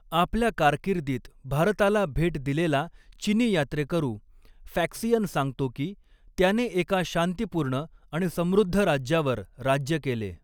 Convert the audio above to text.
आपल्या कारकिर्दीत भारताला भेट दिलेला चिनी यात्रेकरू फॅक्सियन सांगतो की, त्याने एका शांतीपूर्ण आणि समृद्ध राज्यावर राज्य केले.